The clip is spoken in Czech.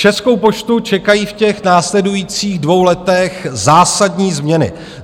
Českou poštu čekají v těch následujících dvou letech zásadní změny.